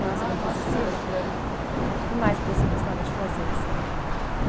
Ah, bastante, é. O que mais que você gostava de fazer, assim?